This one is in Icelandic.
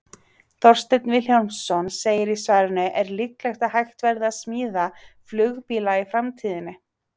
Þorsteinn Vilhjálmsson segir í svarinu Er líklegt að hægt verði að smíða flugbíla í framtíðinni?